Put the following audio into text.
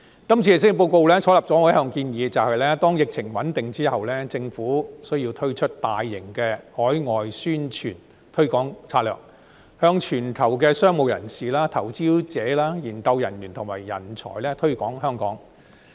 今次施政報告採納了我一向的建議，便是待疫情穩定之後，政府需要推出大型海外宣傳推廣策略，向全球商務人士、投資者、研究人員和人才推廣香港。